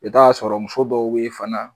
I ta sɔrɔ muso dɔw be yen fana.